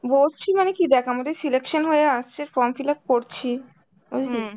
বসছি মানে কী দ্যাখ আমাদের selection হয় আসছে, form fill up করছি, বুঝলি.